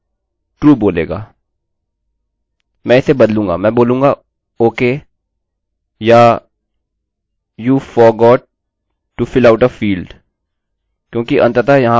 मैं इसे बदलूँगा मैं बोलूंगा ok या you forgot to fill out a fieldआप फील्ड को भरना भूल गए हैं क्योंकि अंततः यहाँ पर html फील्ड्स होंगे